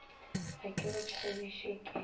ga ke go tšhabiše ke